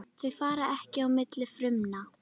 Þau fara ekki á milli frumna.